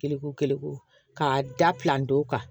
Kelenko kelen k'a da kan